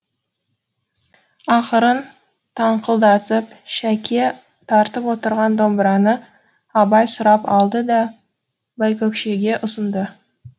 ақырын таңқылдатып шәке тартып отырған домбыраны абай сұрап алды да байкөкшеге ұсынды